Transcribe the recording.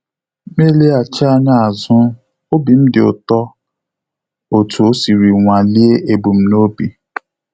M eleghachi anya azu, obi dịm ụtọ otu o siri nwalie ebum n'obi